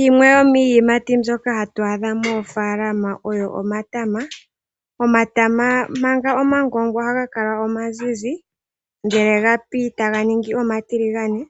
Yimwe yo miiyimati mbyoka hatu adha moofalama oyo omatama . Omatama manga omagongwa ohaga kala omazizi ngele gapi taga ningi omatiligane .